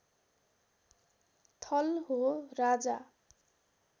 थल हो राजा